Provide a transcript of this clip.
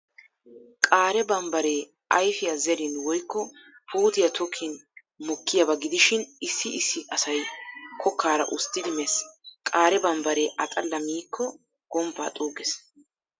Qaare bambbaree ayfiyaa zerin woykko puutiyaa tokkin mokkiyaaba gidishin issi issi asay kokkaara usttidi mees. Qaare bambbaree a xalla miikko gomppaa xuuggees.